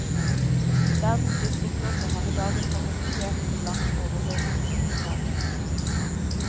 Verdens fiskeflåter har i dag en kapasitet som langt overgårressursgrunnlaget.